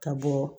Ka bɔ